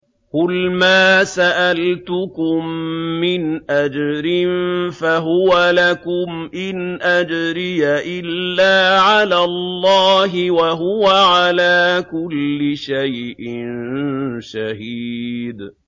قُلْ مَا سَأَلْتُكُم مِّنْ أَجْرٍ فَهُوَ لَكُمْ ۖ إِنْ أَجْرِيَ إِلَّا عَلَى اللَّهِ ۖ وَهُوَ عَلَىٰ كُلِّ شَيْءٍ شَهِيدٌ